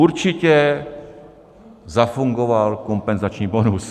Určitě zafungoval kompenzační bonus.